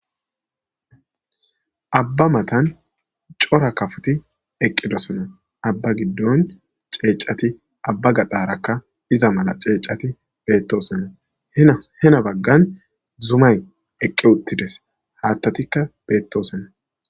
Abba matan cora kafuti eqqidosona abba giddon ceecati abba gadarakka iza mala ceecati bettosonna hena baggan zumay eqqi uttides haattatikka beettosonna